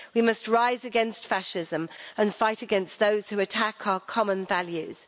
We must rise against fascism and fight against those who attack our common values.